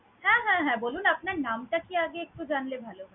হ্যা হ্যা হ্যা বলুন। আপনার নামটা কি আগে একটু জানলে ভালো।